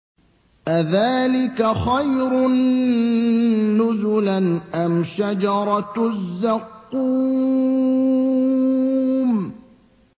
أَذَٰلِكَ خَيْرٌ نُّزُلًا أَمْ شَجَرَةُ الزَّقُّومِ